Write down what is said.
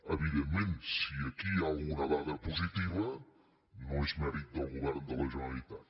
evidentment si aquí hi ha alguna dada positiva no és mèrit del govern de la generalitat